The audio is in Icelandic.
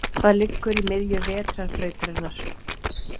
Hvað liggur í miðju Vetrarbrautarinnar?